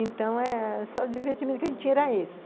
Então eh... só o divertimento que a gente tinha era esse.